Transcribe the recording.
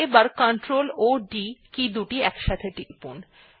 এবার ctrl ও d কী একসাথে টিপুন